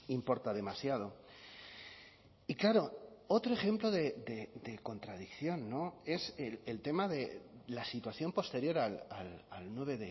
importa demasiado y claro otro ejemplo de contradicción es el tema de la situación posterior al nueve